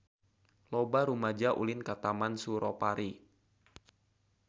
Loba rumaja ulin ka Taman Suropari